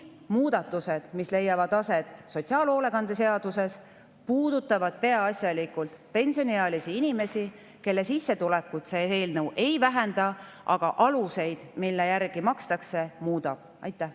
Muudatused, mis leiavad aset sotsiaalhoolekande seaduses, puudutavad peaasjalikult pensioniealisi inimesi, kelle sissetulekut see eelnõu ei vähenda, ta muudab aluseid, mille järgi makstakse.